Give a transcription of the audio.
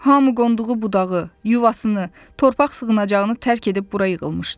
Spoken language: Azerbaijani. Hamı qonduğu budağı, yuvasını, torpaq sığınacağını tərk edib bura yığılmışdı.